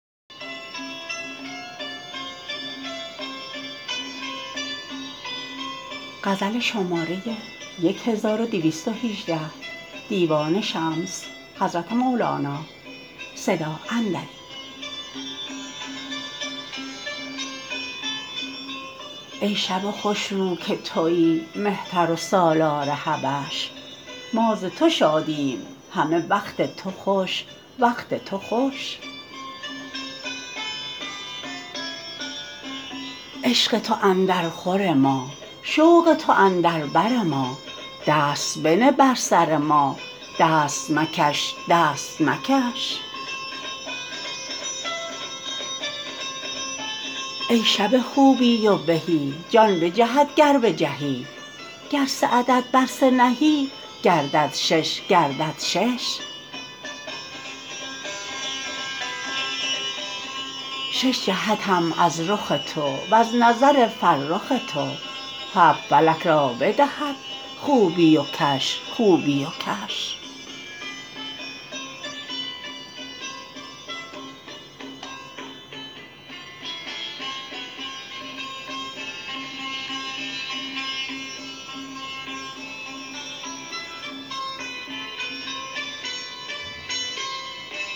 ای شب خوش رو که توی مهتر و سالار حبش ما ز تو شادیم همه وقت تو خوش وقت تو خوش عشق تو اندرخور ما شوق تو اندر بر ما دست بنه بر سر ما دست مکش دست مکش ای شب خوبی و بهی جان بجهد گر بجهی گر سه عدد بر سه نهی گردد شش گردد شش شش جهتم از رخ تو وز نظر فرخ تو هفت فلک را بدهد خوبی و کش خوبی و کش